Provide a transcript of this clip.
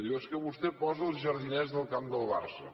diu és que vostè posa els jardiners del camp de barça